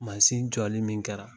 jɔli min kɛra